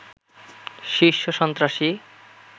শীর্ষ সন্ত্রাসী